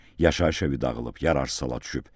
Yaşayış evi dağılıb, yararsız hala düşüb.